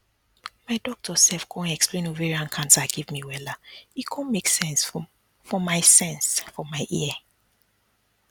my doctor sef con explain ovarian cancer give me wella e con make sense for my sense for my ear